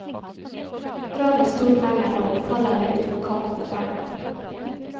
Drar vi stort lenger nå, faller vi utfor kanten av verden!